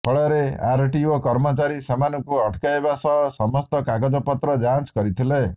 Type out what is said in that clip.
ଫଳରେ ଆରଟିଓ କର୍ମଚାରୀ ସେମାନଙ୍କୁ ଅଟକାଇବା ସହ ସମସ୍ତ କାଗଜ ପତ୍ର ଯାଞ୍ଚ କରିଥିଲେ